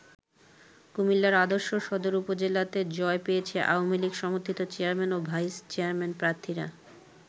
কুমিল্লার আদর্শ সদর উপজেলাতে জয় পেয়েছে আওয়ামী লীগ সমর্থিত চেয়ারম্যান ও ভাইস চেয়ারম্যান প্রার্থীরা।